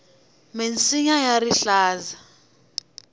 minsinya ya rihlaza